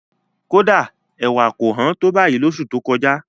Kódà, ẹ̀wà kò hán tó báyìí lóṣù tó kọjá.